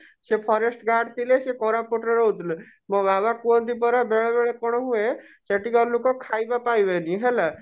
ସେ forest guard ଥିଲେ ସେ କୋରାପୁଟ ରେ ରହୁଥିଲେ ମୋ ବାବା କୁହନ୍ତି ପରା ବେଳେ ବେଳେ କଣ ହୁଏ ସେଠିକା ର ଲୁକ ଖାଇବା ପାଇବେନି ହେଲା